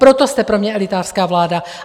Proto jste pro mě elitářská vláda.